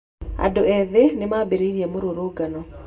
Andũ ethĩ nĩ maambĩrĩirie mũrũrũngano.